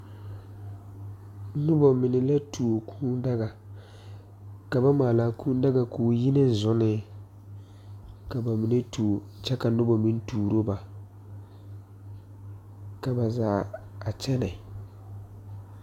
Nobɔ mine la tuo kūū daga ka ba maalaa kūū daga koo yi ne zunee ka ba mine tuo kyɛ ka nobɔ meŋ turo ba ka ba zaa a kyɛnɛ.